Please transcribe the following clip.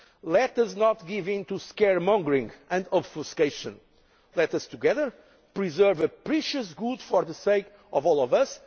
debate. Let us not give in to scaremongering and obfuscation. Let us together preserve a precious good for the sake of all